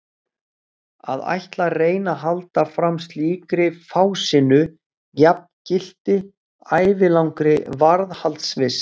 Að ætla að reyna að halda fram slíkri fásinnu jafngilti ævilangri varðhaldsvist.